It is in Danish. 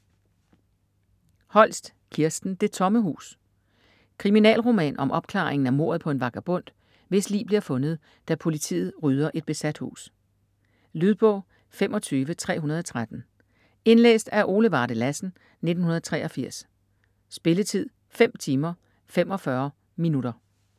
Holst, Kirsten: Det tomme hus Kriminalroman om opklaringen af mordet på en vagabond, hvis lig bliver fundet, da politiet rydder et besat hus. Lydbog 25313 Indlæst af Ole Varde Lassen, 1983. Spilletid: 5 timer, 45 minutter.